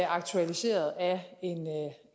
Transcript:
aktualiseret af